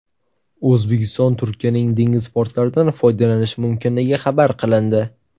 O‘zbekiston Turkiyaning dengiz portlaridan foydalanishi mumkinligi xabar qilindi.